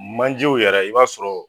Manjew yɛrɛ i b'a sɔrɔ.